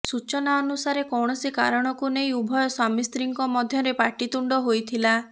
ସୂଚନା ଅନୁସାରେ କୌଣସି କାରଣକୁ ନେଇ ଉଭୟ ସ୍ୱାମୀସ୍ତ୍ରୀଙ୍କ ମଧ୍ୟରେ ପାଟିତୁଣ୍ଡ ହୋଇଥିଲା